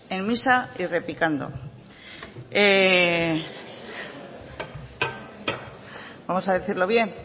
en misa y replicando vamos a decirlo bien